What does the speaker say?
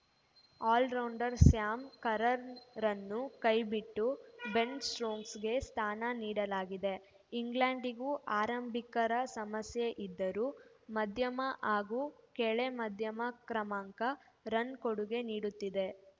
allrounder Sam ಕರ್ರನ್‌ರನ್ನು ಕೈಬಿಟ್ಟು Ben ಸ್ಟೋಕ್ಸ್‌ಗೆ ಸ್ಥಾನ ನೀಡಲಾಗಿದೆ ಇಂಗ್ಲೆಂಡ್‌ಗೂ ಆರಂಭಿಕರ ಸಮಸ್ಯೆ ಇದ್ದರೂ ಮಧ್ಯಮ ಹಾಗೂ ಕೆಳ ಮಧ್ಯಮ ಕ್ರಮಾಂಕ ರನ್‌ ಕೊಡುಗೆ ನೀಡುತ್ತಿದೆ